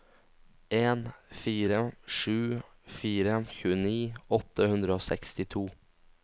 en fire sju fire tjueni åtte hundre og sekstito